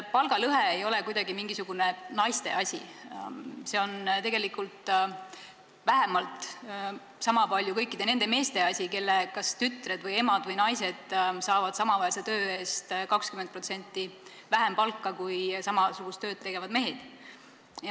Palgalõhe ei ole mingisugune naiste asi, see on tegelikult vähemalt samapalju kõikide nende meeste asi, kelle kas tütred, emad või naised saavad samaväärse töö eest 20% vähem palka kui samasugust tööd tegevad mehed.